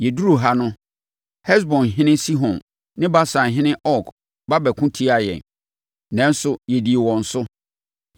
Yɛduruu ha no, Hesbonhene Sihon ne Basanhene Og ba bɛko tiaa yɛn, nanso, yɛdii wɔn so.